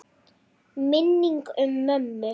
Minning um mömmu.